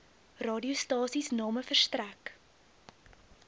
radiostasies name verstrek